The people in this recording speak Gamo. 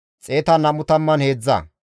Hara Elaame katama asati 1,254,